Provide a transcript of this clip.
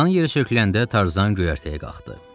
Dan yeri söküləndə Tarzan göyərtəyə qalxdı.